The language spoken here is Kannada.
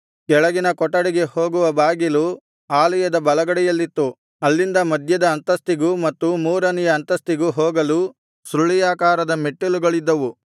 ಕೆಳಗಿನ ಕೊಠಡಿಗೆ ಹೋಗುವ ಬಾಗಿಲು ಆಲಯದ ಬಲಗಡೆಯಲ್ಲಿತ್ತು ಅಲ್ಲಿಂದ ಮಧ್ಯದ ಅಂತಸ್ತಿಗೂ ಮತ್ತು ಮೂರನೆಯ ಅಂತಸ್ತಿಗೂ ಹೋಗಲು ಸುರುಳಿಯಾಕಾರದ ಮೆಟ್ಟಲುಗಳಿದ್ದವು